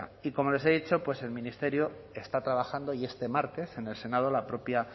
y como les he dicho pues el ministerio está trabajando y este martes en el senado la propia